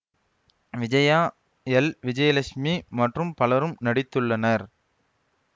Vijaya L Vijayalakshmi மற்றும் பலரும் நடித்துள்ளனர்